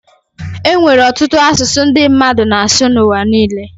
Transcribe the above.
e nwere ọtụtụ asụsụ ndị mmadụ na-asụ n’ụwa niile